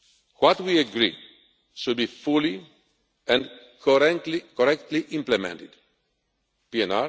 year. What we agree should be fully and correctly implemented